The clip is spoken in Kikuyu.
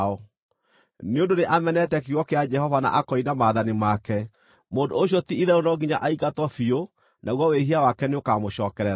Nĩ ũndũ nĩ amenete kiugo kĩa Jehova na akoina maathani make, mũndũ ũcio ti-itherũ no nginya aingatwo biũ naguo wĩhia wake nĩũkamũcokerera.’ ”